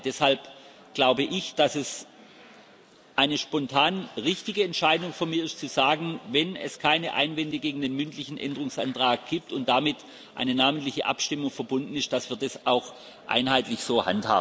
Deshalb glaube ich, dass es eine spontan richtige Entscheidung von mir ist, zu sagen Wenn es keine Einwände gegen den mündlichen Änderungsantrag gibt und damit eine namentliche Abstimmung verbunden ist, dann handhaben wir das auch einheitlich so.